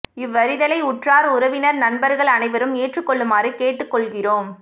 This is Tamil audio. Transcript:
இவ்வறித்தலை உற்றார் உறவினர் நண்பர்கள் அனைவரும் ஏற்றுக் கொள்ளுமாறு கேட்டுக் கொள்கிறோம்